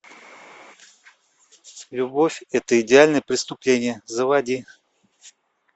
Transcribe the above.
любовь это идеальное преступление заводи